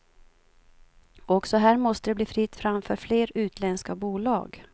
Också här måste det bli fritt fram för fler utländska bolag.